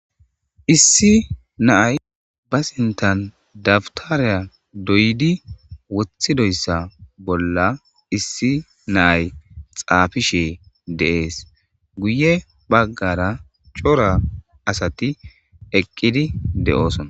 Iisi Naaye Basinttan Dabtere Doyiddi Woththi Doysa. Bolla Iissi Naye Xaafishine Dese Guuye Bagara Corra Assati Eeqidi Dee'osonna.